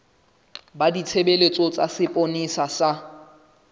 ba ditshebeletso tsa sepolesa sa